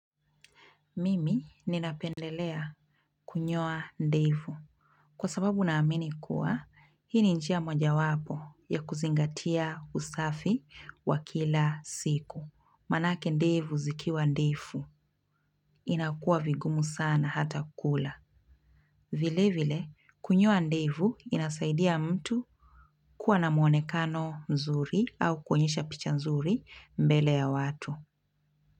Mimi ninapendelea kunyoa ndevu. Kwa sababu naamini kuwa, hii ni njia moja wapo ya kuzingatia usafi wa kila siku. Manake ndevu zikiwa ndefu, inakuwa vigumu sana hata kula. Vile vile, kunyoa ndevu inasaidia mtu kuwa na muonekano mzuri au kuonyesha picha mzuri mbele ya watu.